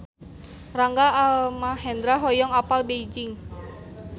Rangga Almahendra hoyong apal Beijing